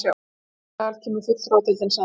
Í þessum sal kemur fulltrúadeildin saman.